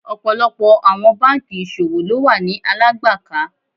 Ọ̀pọ̀lọpọ̀ àwọn bankì ìṣòwò ló wà ni Alágbàká.